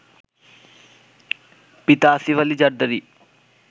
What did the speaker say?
পিতা আসিফ আলি জারদারি